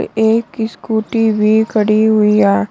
एक स्कूटी भी खड़ी हुई है।